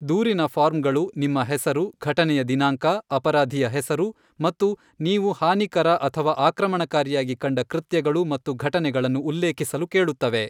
ದೂರಿನ ಫಾರ್ಮ್ಗಳು ನಿಮ್ಮ ಹೆಸರು, ಘಟನೆಯ ದಿನಾಂಕ, ಅಪರಾಧಿಯ ಹೆಸರು ಮತ್ತು ನೀವು ಹಾನಿಕರ ಅಥವಾ ಆಕ್ರಮಣಕಾರಿಯಾಗಿ ಕಂಡ ಕೃತ್ಯಗಳು ಮತ್ತು ಘಟನೆಗಳನ್ನು ಉಲ್ಲೇಖಿಸಲು ಕೇಳುತ್ತವೆ.